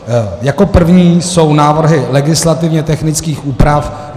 Jako první jsou návrhy legislativně technických úprav.